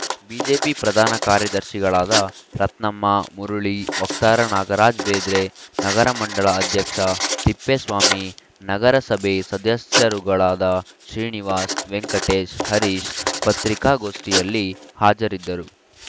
BJP ಪ್ರಧಾನ ಕಾರ್ಯದರ್ಶಿಗಳಾದ ರತ್ನಮ್ಮ ಮುರುಳಿ ವಕ್ತಾರ ನಾಗರಾಜ್‌ಬೇದ್ರೆ ನಗರ ಮಂಡಲ ಅಧ್ಯಕ್ಷ ತಿಪ್ಪೇಸ್ವಾಮಿ ನಗರಸಭೆ ಸದಸ್ಯರುಗಳಾದ ಶ್ರೀನಿವಾಸ್‌ ವೆಂಕಟೇಶ್‌ ಹರೀಶ್‌ ಪತ್ರಿಕಾಗೋಷ್ಠಿಯಲ್ಲಿ ಹಾಜರಿದ್ದರು